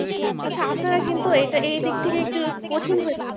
আচ্ছা আপনারা কিন্তু এটা এই দিক থেকে একটু কঠিন হয়ে যান।